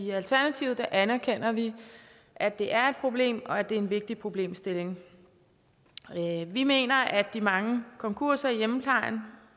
i alternativet anerkender vi at det er et problem og at det er en vigtig problemstilling vi mener at de mange konkurser i hjemmeplejen